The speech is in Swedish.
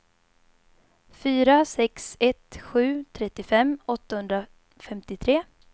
fyra sex ett sju trettiofem åttahundrafemtiotre